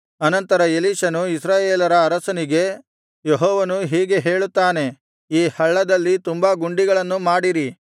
ಅನಂತರ ಎಲೀಷನು ಇಸ್ರಾಯೇಲರ ಅರಸನಿಗೆ ಯೆಹೋವನು ಹೀಗೆ ಹೇಳುತ್ತಾನೆ ಈ ಹಳ್ಳದಲ್ಲಿ ತುಂಬಾ ಗುಂಡಿಗಳನ್ನು ಮಾಡಿರಿ